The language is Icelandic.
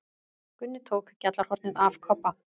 Gunni tók gjallarhornið af Kobba.